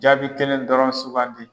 Jaabi kelen dɔrɔn sugandi.